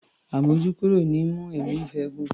Àmójúkúrò ni í mú ẹ̀mí ìfẹ́ gùn.